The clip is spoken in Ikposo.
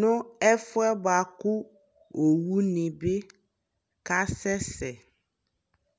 nu ɛfuɛ buaku owu ni bi ka sɛsɛ